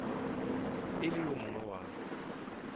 e le yo mongwe wa